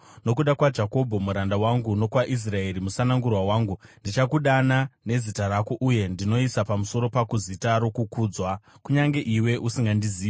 Nokuda kwaJakobho muranda wangu, nokwaIsraeri musanangurwa wangu, ndinokudana nezita rako, uye ndinoisa pamusoro pako zita rokukudzwa, kunyange iwe usingandizivi.